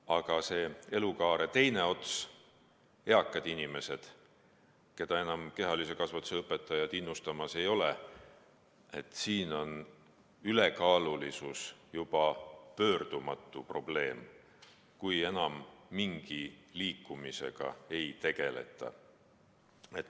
Aga see elukaare teine ots, eakad inimesed, keda kehalise kasvatuse õpetajad enam innustamas ei ole, nende puhul on ülekaalulisus juba pöördumatu probleem, kui enam mingi liikumisega ei tegeleta.